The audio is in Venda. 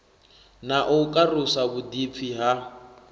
na u karusa vhuḓipfi ha